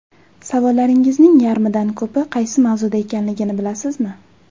Savollaringizning yarmidan ko‘pi qaysi mavzuda ekanligini bilasizmi?